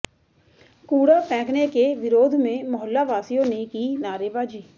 कूड़ा फेंकने के विरोध में मोहल्लवासियों ने की नारेबाजी